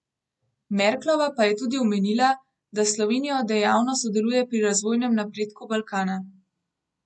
Merklova pa je tudi omenila, da s Slovenijo dejavno sodeluje pri razvojnem napredku Balkana.